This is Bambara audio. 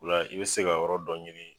OIa i bɛ se ka yɔrɔ dɔ ɲini